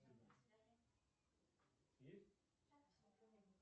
спасибо полчаса прошли да и